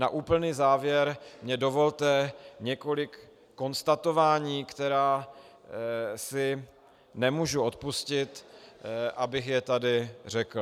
Na úplný závěr mi dovolte několik konstatování, která si nemůžu odpustit, abych je tady řekl.